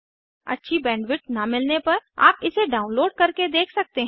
अच्छी बैंडविड्थ न मिलने पर आप इसे डाउनलोड करके देख सकते हैं